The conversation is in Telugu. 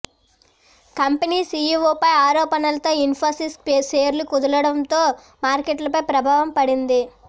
కంపెనీ సీఈఓపై ఆరోపణలతో ఇన్ఫోసిస్ షేర్లు కుదేలవడంతో మార్కెట్లపై ప్రభావం పడింది